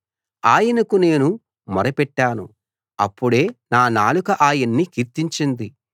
ఆయనకు నేను మొరపెట్టాను అప్పుడే నా నాలుక ఆయన్ని కీర్తించింది